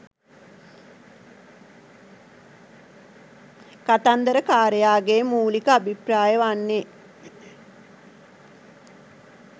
කතන්දරකාරයාගේ මූලික අභිප්‍රාය වන්නේ